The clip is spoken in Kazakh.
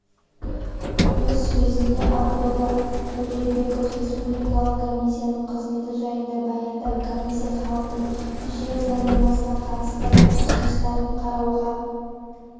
өз сөзінде абдолла төребеков республикалық комисияның қызметі жайында баяндап комиссия халықтың жер заңнамасына қатысты ұсыныстарын қарауға